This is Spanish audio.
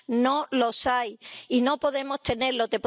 no los hay, y no podemos tenerlos.